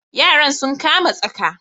Yaran sun kama tsaka.